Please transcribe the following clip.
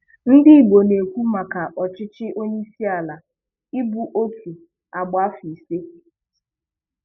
Ihe Ndigbo na-ekwu maka ọchịchị onyeisiala ịbụ otu agba afọ isii